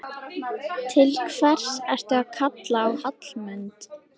Til hvers ertu að kalla á Hallmund?